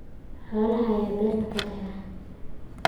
Xoolaha ayaa beerta ka baxa.